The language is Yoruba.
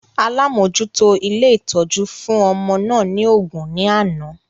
Alamojuto ilé ìtọ́jú fún ọmọ náà ni ògún ní àná